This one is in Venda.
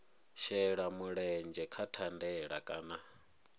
shela mulenzhe kha thandela kana